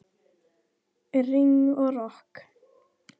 Rigning og rok.